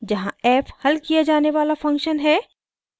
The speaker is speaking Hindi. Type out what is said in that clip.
जहाँ: f हल किया जाने वाला फंक्शन है